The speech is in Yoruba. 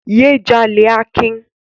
Yé jalè Akin!